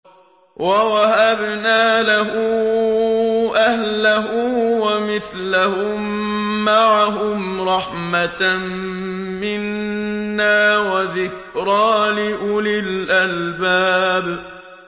وَوَهَبْنَا لَهُ أَهْلَهُ وَمِثْلَهُم مَّعَهُمْ رَحْمَةً مِّنَّا وَذِكْرَىٰ لِأُولِي الْأَلْبَابِ